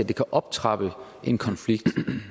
det kan optrappe en konflikt